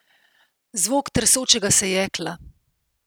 Zvok tresočega se jekla.